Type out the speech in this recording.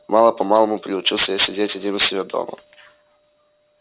мало-помалому приучился я сидеть один у себя дома